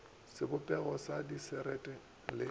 le sebopegong sa dišere le